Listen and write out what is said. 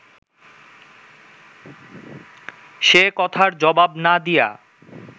সে-কথার জবাব না দিয়া